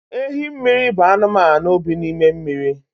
Ehimmiri bụ anụmanụ bi n’ime mmiri